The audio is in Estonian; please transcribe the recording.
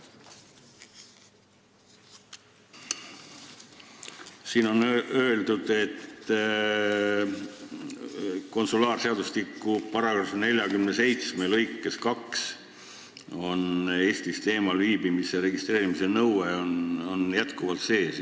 Siin on öeldud, et konsulaarseadustiku § 471 lõikes 2 on Eestist eemal viibimise registreerimise nõue endiselt sees.